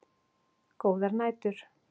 Góðar nætur.